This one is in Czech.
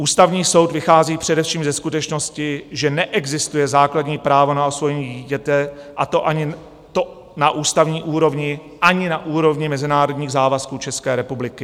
Ústavní soud vychází především ze skutečnosti, že "neexistuje základní právo na osvojení dítěte, a to ani na ústavní úrovni, ani na úrovni mezinárodních závazků České republiky".